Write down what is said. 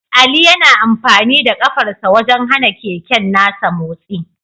Ali yana amfani da kafarsa wajen hana keken nasa motsi